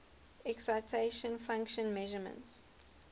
excitation function measurements